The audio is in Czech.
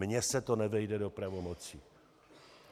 Mně se to nevejde do pravomocí.